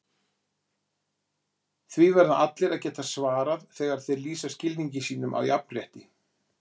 Því verða allir að geta svarað þegar þeir lýsa skilningi sínum á jafnrétti.